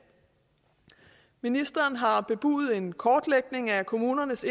ministeren har bebudet en kortlægning af kommunernes